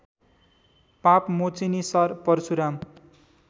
पापमोचिनि सर परशुराम